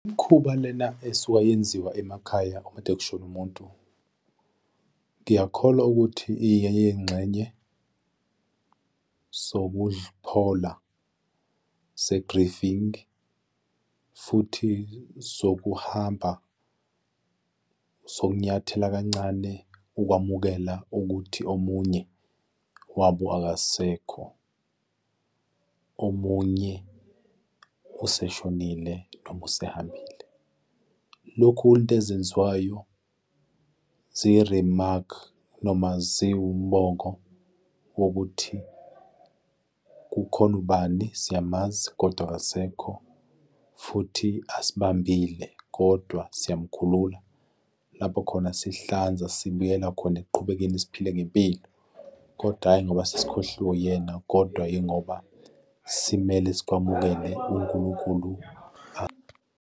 Umkhuba lena esuka yenziwa emakhaya uma kade kushone umuntu, ngiyakholwa ukuthi iyeyingxenye zokuphola ze-grieving futhi zokuhamba zokunyathela kancane ukwamukela ukuthi omunye wabo akasekho, omunye useshonile, noma usehambile. Lokhu into ezenziwayo ziyi-remark noma ziwumongo wokuthi kukhona ubani siyamazi, kodwa akasekho futhi asibambile, kodwa siyamkhulula lapho khona sihlanza, sibuyela khona ekuqhubekeni, siphile ngempilo, kodwa, hhayi ngoba sesikhohliwe uyena kodwa yingoba simele sikwamukele uNkulunkulu.